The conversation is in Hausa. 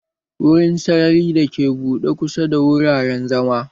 Wurin sarari dake buɗe kusa da wuraren zama.